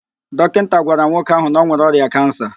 Dọkinta gwara nwoke ahụ na ọ nwere ọrịa kansa